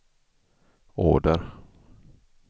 order